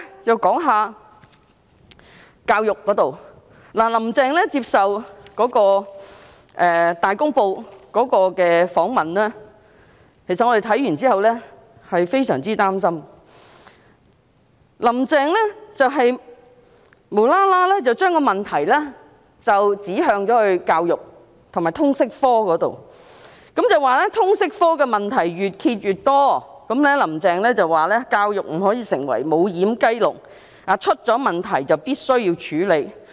我們看到"林鄭"接受《大公報》訪問後，感到非常擔心，"林鄭"無緣無故把問題指向教育和通識科，說通識科的問題越揭越多，教育不可以成為"無掩雞籠"，出現了問題便必須處理。